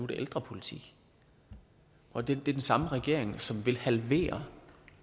det ældrepolitik og det er den samme regering som i vil halvere